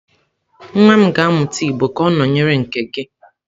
Nwa m ga-amụta igbo ka ọ nọnyere nke gị?